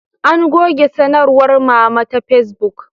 An goge sanarwar Mama ta Fesbuk